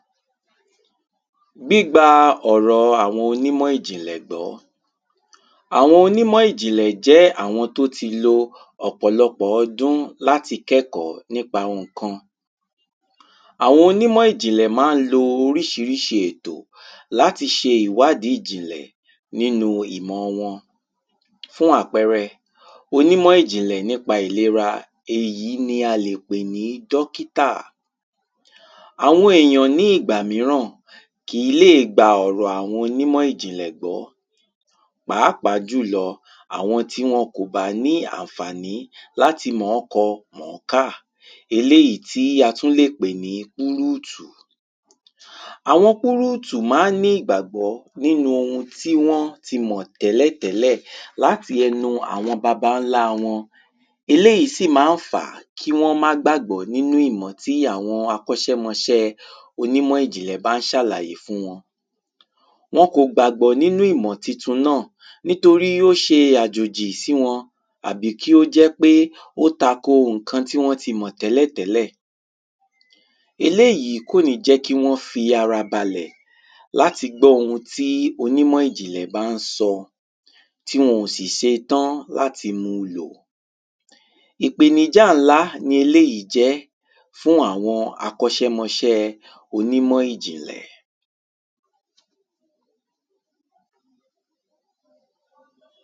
gbígba ọ̀rọ àwọn onímọ̀ìjìnlẹ̀ gbọ́. àwọn onímọ̀ìjìnlẹ̀ jẹ́ àwọn tó ti lo ọ̀pọ̀lọpọ̀ ọdún láti kẹ́kọ̀ọ́ nípa ohùn ǹkan. àwọn onímọ̀ìjìnlẹ̀ mán lo oríṣiríṣi ètò láti ṣe ìwádí ìjìnlẹ̀ nínu ìmọ wọn. fún àpẹrẹ, onímọ̀ìjìnlẹ̀ nípa ìlera, èyí ni a lè pè ní dọ́kítà. àwọn èyàn ní ìgbàmíràn kìí lè gba ọ̀rọ̀ àwọn onímọ̀ìjìnlẹ̀ gbọ́, pàápàá jùlọ àwọn tí wọn kòbá ní ànfàní láti mọ̀ọ́kọ mọ̀ọ́kà, eléyìí tí a tún lè pè ní púrútù. àwọn púrútù maá ní ìgbàgbọ́ nínu ohun tí wọ́n ti mọ̀ tẹ́lẹ̀tẹ́lẹ̀ láti ẹnu àwọn babańlá wọn, eléyìí sì ma ń fàá kí wọ́n má gbàgbọ́ nínu ìmọ̀ tí àwọn akọ́ṣẹ́mọṣẹ́ẹ onímọ̀ìjìnlẹ̀ bán ṣàlàyé fún wọn. wọn kò gbàgbọ́ nínú ìmọ̀ titun náà nítorí ó ṣe àjòjì sí wọn àbí kí ó jẹ́ pé ó tako ohùn kan tí wọ́n ti mọ̀ tẹ́lẹ̀tẹ́lẹ̀. eléyìí kòní jẹ́ kí wọ́n fi ara balẹ̀ láti gbọ́ ohun tí onímọ̀ìjìnlẹ̀ bán sọ, tí wọn ò sì ṣetán láti mu lò. ìpèníjà ńlá ni eléyìí jẹ́ fún àwọn akọ́ṣẹ́mọṣẹ́ẹ onímọ̀ìjìnlẹ̀.